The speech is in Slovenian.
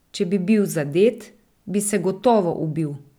Če bi bil zadet, bi se gotovo ubil.